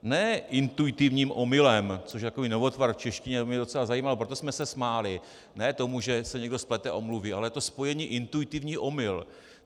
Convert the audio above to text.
Ne intuitivním omylem, což je takový novotvar v češtině, to by mě docela zajímalo, proto jsme se smáli, ne tomu, že si někdo splete omluvy, ale to spojení intuitivní omyl.